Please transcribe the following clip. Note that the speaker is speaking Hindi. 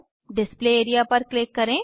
डिस्प्ले एरिया पर क्लिक करें